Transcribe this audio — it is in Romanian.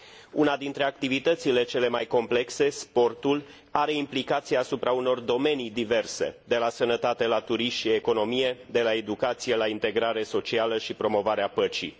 Una dintre activitățile cele mai complexe, sportul, are implicații asupra unor domenii diverse, de la sănătate la turism și economie, de la educație la integrare socială și promovarea păcii.